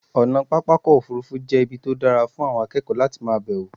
ọ̀nà pápá òfurufú jẹ́ ibi tó dára fún àwọn akékòó láti ma bẹ̀wọ̀